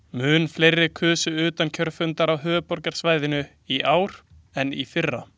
Mun fleiri kusu utan kjörfundar á höfuðborgarsvæðinu í ár en í fyrra.